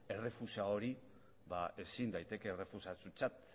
errefusa hori ezin daiteke errefusatutzat